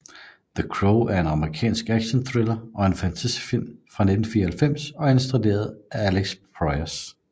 The Crow er en amerikansk actionthriller og fantasyfilm fra 1994 og er instrueret af Alex Proyas